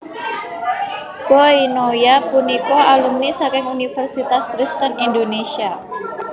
Boy Noya punika alumni saking Universitas Kristen Indonesia